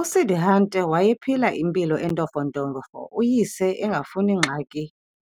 USiddhārtha wayephila impilo entofontofo, uyise engafuni ngxaki